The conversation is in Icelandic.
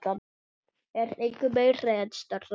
er engu meiri en strá.